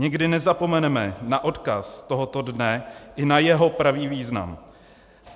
Nikdy nezapomeneme na odkaz tohoto dne i na jeho pravý význam.